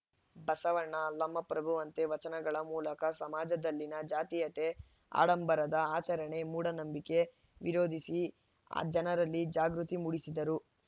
ಬಸವಣ್ಣ ಅಲ್ಲಮ ಪ್ರಭುವಂತೆ ವಚನಗಳ ಮೂಲಕ ಸಮಾಜದಲ್ಲಿನ ಜಾತೀಯತೆ ಆಡಂಬರದ ಆಚರಣೆ ಮೂಢನಂಬಿಕೆ ವಿರೋಧಿಸಿ ಜನರಲ್ಲಿ ಜಾಗೃತಿ ಮೂಡಿಸಿದರು